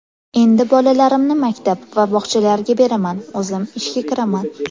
Endi bolalarimni maktab va bog‘chalarga beraman, o‘zim ishga kiraman.